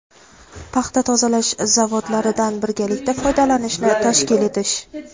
paxta tozalash zavodlaridan birgalikda foydalanishni tashkil etish;.